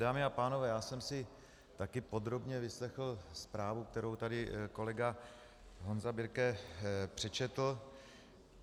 Dámy a pánové, já jsem si také podrobně vyslechl zprávu, kterou tady kolega Honza Birke přečetl.